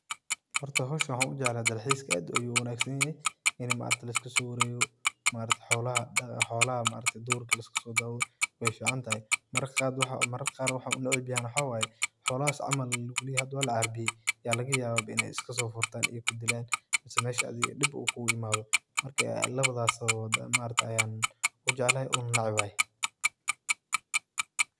Hoorta hooshan waxan u jeeclathay ,Ina dal xiiska aadoh oo u wanagsantahay ini maaragtay lisku so wareegoh, maaragtay xoolaha duurka liska so dawtoh, wayficantahay marara Qaar wax u naceebyahay waxawaye xoolasahi camal lagu leeyahay ini lacarbiyeeyi inay isku so foortan ee meshan dib kugu imathoh markasto lawathasi u jeecalahay oo u neceebahay.